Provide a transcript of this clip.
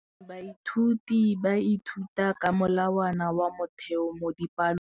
Baithuti ba ithuta ka molawana wa motheo mo dipalong.